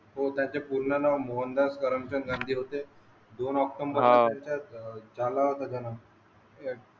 व त्याचे पूर्ण नाव मोहनदास करमचंद गांधी होते दोन ऑक्टोंबर झाला होता जनम